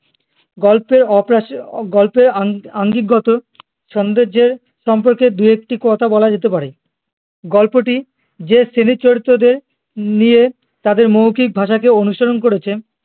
গল্পের অপরাশে গল্পের অঙ্গি আঙ্গিকগত সোন্দর্যে সম্পর্কে দু একটি কথা বলা যেতে পারে গল্পটি যে শ্রেণীর চরিত্রদের নিয়ে তাদের মৌখিক ভাষাকে অনুসরণ করেছে